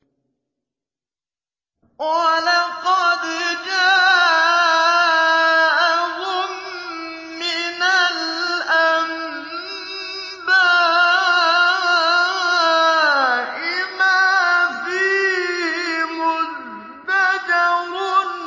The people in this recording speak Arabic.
وَلَقَدْ جَاءَهُم مِّنَ الْأَنبَاءِ مَا فِيهِ مُزْدَجَرٌ